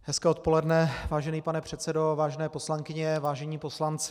Hezké odpoledne, vážený pane předsedo, vážené poslankyně, vážení poslanci.